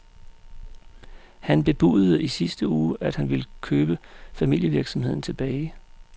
Han bebudede i sidste uge, at han vil købe familievirksomheden tilbage.